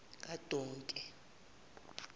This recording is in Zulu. kadonke